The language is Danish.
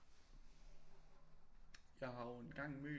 Jeg har jo engang mødt